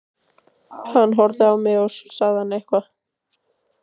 Hann horfði á mig og svo sagði hann eitthvað.